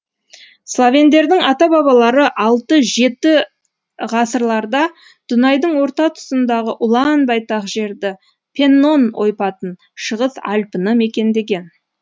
словендердің ата бабалары алты жеті ғасырларда дунайдың орта тұсындағы ұлан байтақ жерді пеннон ойпатын шығыс альпіні мекендеген